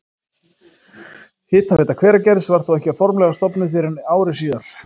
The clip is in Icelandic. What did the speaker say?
Hitaveita Hveragerðis var þó ekki formlega stofnuð fyrr en ári síðar.